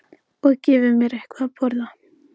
Og gefi mér eitthvað að borða.